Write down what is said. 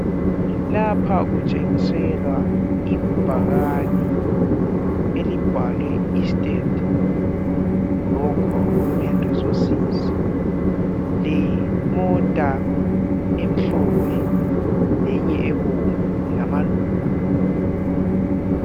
Lapha kutshiselwa ibhakane elibhalwe Estate block human resources lemota emhlophe lenye ebomvu lamaluba .